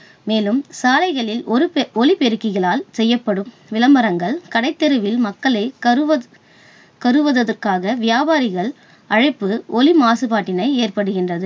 மேலும் சாலைகளில் ஒலிபெருக்கிகளால் செய்யப்படும் விளம்பரங்கள், கடைத்தெருவில் மக்களை கருவ~ கவருவதற்காக வியாபாரிகள் அழைப்பு ஒலி மாசுபாட்டினை ஏற்படுகின்றது.